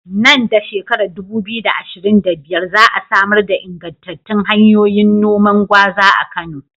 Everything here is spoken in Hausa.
Nan da shekarar 2025, za a samar da ingantattun hanyoyin noman gwaza a Kano.